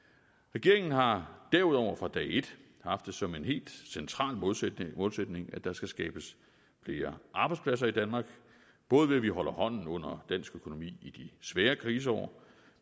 regeringen har derudover fra dag et haft det som en helt central målsætning målsætning at der skal skabes flere arbejdspladser i danmark både ved at vi holder hånden under dansk økonomi i de svære kriseår